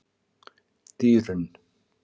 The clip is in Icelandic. Dýrunn